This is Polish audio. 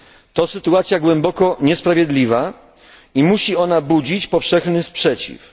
To sytuacja głęboko niesprawiedliwa i musi ona budzić powszechny sprzeciw.